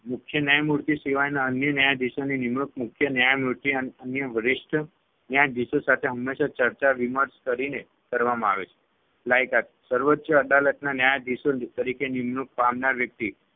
મુખ્ય ન્યાયમૂર્તિ સિવાયના અન્ય ન્યાયાધીશોની નિમણુક મુખ્ય ન્યાયમૂર્તિ અને અન્ય વરિષ્ઠ ન્યાયાધીશો સાથે હંમેશા ચર્ચા વિમર્શ કરીને કરવામાં આવે છે. લાયકાત સર્વોચ્ય અદાલતના ન્યાયાધીશો તરીકે નિમણુક પામનાર વ્યક્તિ